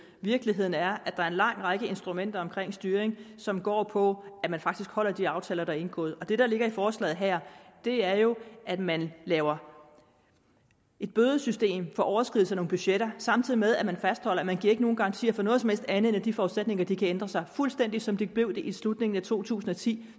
virkeligheden er at der er en lang række instrumenter omkring styring som går på at man faktisk holder de aftaler der er indgået det der ligger i forslaget her er jo at man laver et bødesystem for overskridelse af nogle budgetter samtidig med at man fastholder at man ikke giver nogen garantier for noget som helst andet end at de forudsætninger kan ændre sig fuldstændig som de blev det i slutningen af to tusind og ti